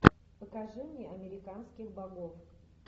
покажи мне американских богов